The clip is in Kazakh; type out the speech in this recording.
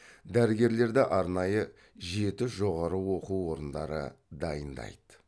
дәрігерлерді арнайы жеті жоғары оқу орындары дайындайды